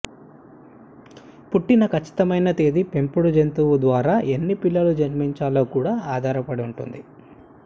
పుట్టిన ఖచ్చితమైన తేదీ పెంపుడు జంతువు ద్వారా ఎన్ని పిల్లులు జన్మించాలో కూడా ఆధారపడి ఉంటుంది